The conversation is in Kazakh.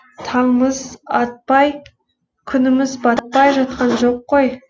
таңымыз атпай күніміз батпай жатқан жоқ қой